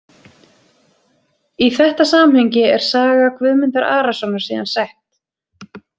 Í þetta samhengi er saga Guðmundar Arasonar síðan sett.